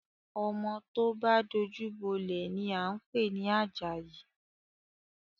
Ọmọ tó bá dojú bọ́lẹ̀ ni à ń pè ní Àjàyí